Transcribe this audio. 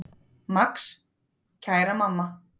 Max: Kæra mamma.